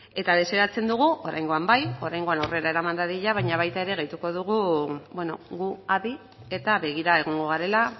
eta desiratzen dugu oraingoan bai oraingoan aurrera eraman dadila baina baita ere gehituko dugu gu adi eta begira egongo garela